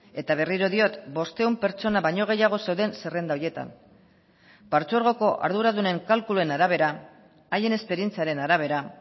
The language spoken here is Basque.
eta berriro diot bostehun pertsona baino gehiago zeuden zerrenda horietan partzuergoko arduradunen kalkuluen arabera haien esperientziaren arabera